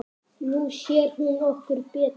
Nú sér hún okkur betur